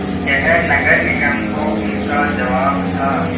यह नगर निगम को उनका जवाब था